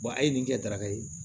a ye nin kɛ daraka ye